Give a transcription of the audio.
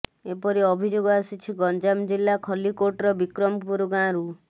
ଏପରି ଅଭିଯୋଗ ଆସିଛି ଗଞ୍ଜାମ ଜିଲ୍ଲା ଖଲ୍ଲିକୋଟର ବିକ୍ରମପୁର ଗାଁରୁ